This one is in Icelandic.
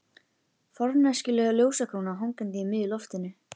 Forneskjuleg ljósakróna hangandi í miðju loftinu.